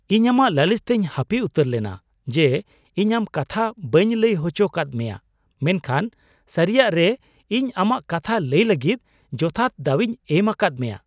ᱤᱧ ᱟᱢᱟᱜ ᱞᱟᱹᱞᱤᱥ ᱛᱮᱧ ᱦᱟᱹᱯᱤ ᱩᱛᱟᱹᱨ ᱞᱮᱱᱟ ᱡᱮ, ᱤᱧ ᱟᱢ ᱠᱟᱛᱷᱟ ᱵᱟᱹᱧ ᱞᱟᱹᱭ ᱦᱚᱪᱚ ᱠᱟᱫ ᱢᱮᱭᱟ ᱢᱮᱱᱠᱷᱟᱱ ᱥᱟᱹᱨᱤᱭᱟᱜᱨᱮ ᱤᱧ ᱟᱢᱟᱜ ᱠᱟᱛᱷᱟ ᱞᱟᱹᱭ ᱞᱟᱹᱜᱤᱫ ᱡᱚᱛᱷᱟᱛ ᱫᱟᱣᱤᱧ ᱮᱢ ᱟᱠᱟᱫ ᱢᱮᱭᱟ ᱾